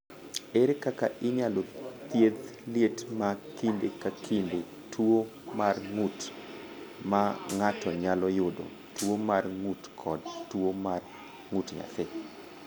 "Ere kaka inyalo thiedh liet ma kinde ka kinde, tuo mar ng’ut ma ng’ato nyalo yudo, tuo mar ng’ut kod tuo mar ng’ut nyathi?"